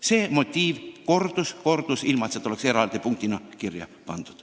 See motiiv kordus ja kordus, ilma et seda oleks eraldi kirja pandud.